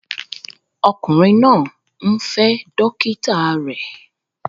Ọkùnrin náà ń fẹ́ dókítà rẹ̀